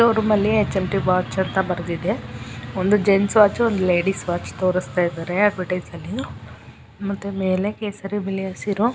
ಶೋರೂಮಲ್ಲಿ ಒಂದು H M_ T watch ಅಂತ ಬರ್ದಿದೆ. ಒಂದು ಜೆನ್ಸ್ ವಾಚ್ ಒಂದು ಲೇಡೀಸ್ ವಾಚ್ ತೋರುಸ್ತಾಯಿದಾರೆ ಬಡೆಸಲ್ಲಿ. ಮತ್ತೆ ಮೇಲೆ ಕೇಸರಿ ಬಿಳಿ ಹಸಿರು--